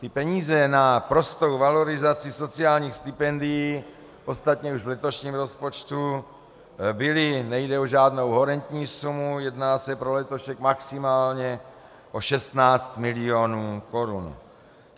Ty peníze na prostou valorizaci sociálních stipendií ostatně už v letošním rozpočtu byly, nejde o žádnou horentní sumu, jedná se pro letošek maximálně o 16 milionů korun.